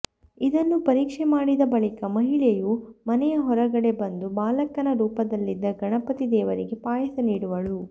ಇದನ್ನು ಪರೀಕ್ಷೆ ಮಾಡಿದ ಬಳಿಕ ಮಹಿಳೆಯು ಮನೆಯ ಹೊರಗಡೆ ಬಂದು ಬಾಲಕನ ರೂಪದಲ್ಲಿದ್ದ ಗಣಪತಿ ದೇವರಿಗೆ ಪಾಯಸ ನೀಡುವಳು